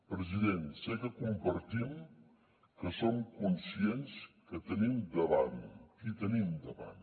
president sé que compartim que som conscients què tenim davant qui tenim davant